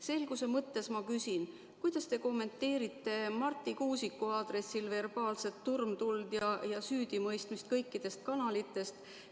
Selguse mõttes ma küsin, kuidas te kommenteerite Marti Kuusiku aadressil verbaalset turmtuld ja süüdimõistmist kõikidest kanalitest.